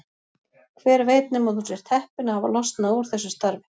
Hver veit nema þú sért heppinn að hafa losnað úr þessu starfi?